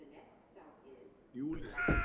Júlían